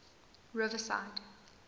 riverside